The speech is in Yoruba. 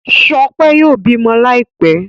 Shope yóò bímọ Láìpé.